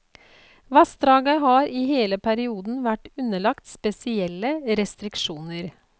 Vassdraget har i hele perioden vært underlagt spesielle restriksjoner.